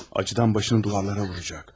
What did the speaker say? Acıdan başını divarlara vuracaq.